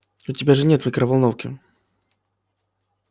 у тебя же нет микроволновки